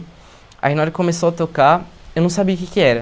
Aí na hora que começou a tocar, eu não sabia o que que era.